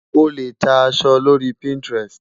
O lè ta aṣọ lórí Pinterest.